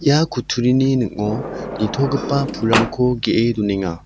ia kutturini ning·o nitogipa pulrangko ge·e donenga.